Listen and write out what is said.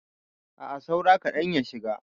A'a saura kaɗan ya shiga.